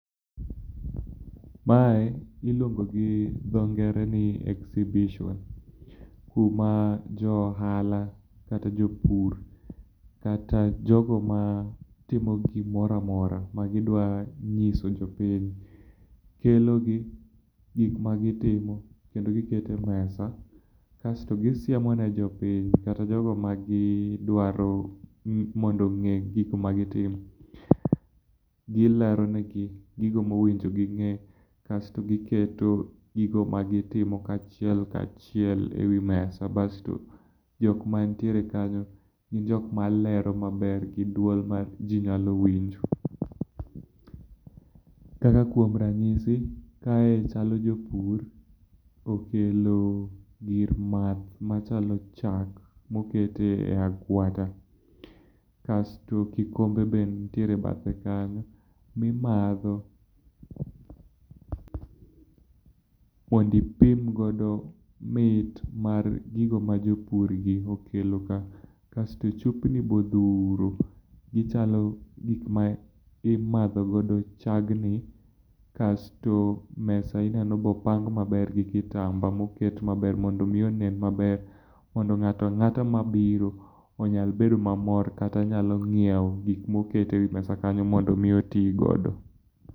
Mae iluongo gi dho ngere ni exibition kuma jo ohala, kata jopur kata jogo matimo gimoro amora magidwa nyiso jopiny, kelo gik magitimo, kendo giketo e mesa kasto gisiemo ne jopiny kata jogo magidwaro mondo ong'e gik magitimo. Gilero negi gigo mowinjo ging'e kasto giketo gigo magitimo achiel ka chiel ewi mesa. Basto jok mantiere kanyo malero maber gi duol maji nyalo winjo. Kaka kuom ranyisi, kae chalo jopur okelo gir math machalo chak moket e agwata. Kasto kikombe be nitiere e bathe kanyo mimadho mondo ipim godo mit mar gigo ma jopur gi okelo ka. Kasto chupni be odhuro, gichalo gik ma imadho godo chagni kasto mesa ineno be opang maber gi kitamba mondo mi onen maber mondo ng'ato ang'ata mabiro onyal bedo mamor kata nyalo nyiewo gik moket ewi mesa kanyo mondo mi oti godo.